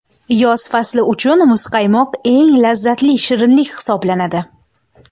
Yoz fasli uchun muzqaymoq eng lazzatli shirinlik hisoblanadi.